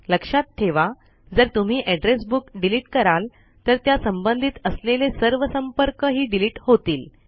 लक्षात ठेवा जर तुम्ही एड्रेस बुक डिलीट कराल तर त्या संबंधित असलेले सर्व संपर्क हि डिलीट होतील